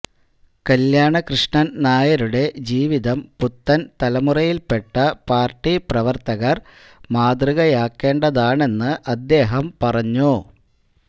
കല്യാണകൃഷ്ണന് നായരുടെ ജീവിതം പുത്തന് തലമുറയില്പ്പെട്ട പാര്ട്ടി പ്രവര്ത്തകര് മാതൃകയാക്കേണ്ടതാണെന്ന് അദ്ദേഹം പറഞ്ഞു